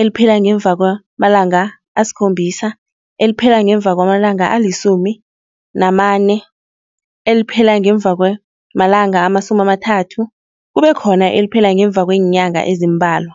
eliphela ngemva kwamalanga asikhombisa, eliphela ngemva kwamalanga alisumi namane, eliphela ngemva kwamalanga amasumi amathathu kube khona eliphela ngemva kweenyanga ezimbalwa.